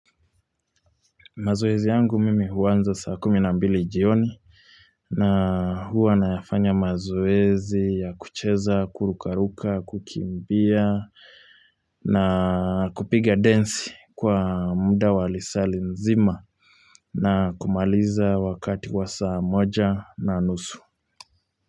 Mazoezi yangu mimi huanza saa kumi na mbili jioni na huwa nayafanya mazoezi ya kucheza, kuruka ruka, kukimbia na kupiga densi kwa muda wa lisali nzima na kumaliza wakati kwa saa moja na nusu.